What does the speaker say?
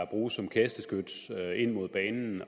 bruges som kasteskyts ind mod banen